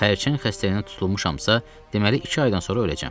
Xərçəng xəstəliyinə tutulmuşamsa, deməli, iki aydan sonra öləcəm.